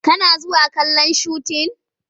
Kana zuwa kallon shutin?